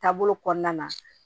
Taabolo kɔnɔna na